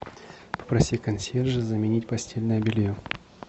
попроси консьержа заменить постельное белье